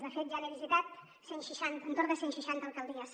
de fet ja n’he visitat cent seixanta entorn de cent seixanta alcaldies